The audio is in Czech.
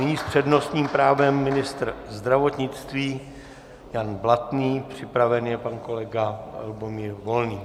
Nyní s přednostním právem ministr zdravotnictví Jan Blatný, připraven je pan kolega Lubomír Volný.